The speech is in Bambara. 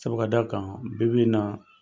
Sabu ka da kan, bi bi in na